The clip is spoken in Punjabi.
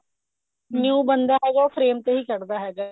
new ਬੰਦਾ ਹੈਗਾ ਉਹ frame ਤੇ ਹੀ ਕੱਡਦਾ ਹੈਗਾ